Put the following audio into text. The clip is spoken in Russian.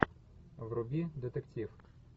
вруби детектив